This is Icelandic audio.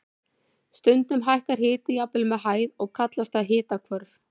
Stundum hækkar hiti jafnvel með hæð og kallast það hitahvörf.